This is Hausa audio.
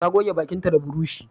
Ta goge bakinta da burushi